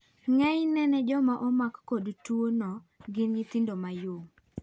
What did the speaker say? Ng'eny ne jomaomakkod twoo no gin nyithindo mayom.